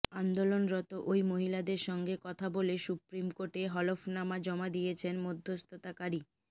আন্দোলনরত ওই মহিলাদের সঙ্গে কথা বলে সুপ্রিম কোর্টে হলফনামা জমা দিয়েছেন মধ্যস্থতাকারী